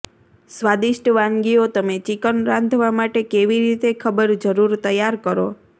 સ્વાદિષ્ટ વાનગીઓ તમે ચિકન રાંધવા માટે કેવી રીતે ખબર જરૂર તૈયાર કરો